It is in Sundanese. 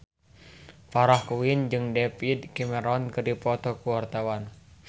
Farah Quinn jeung David Cameron keur dipoto ku wartawan